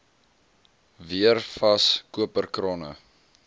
weer vas koperkrane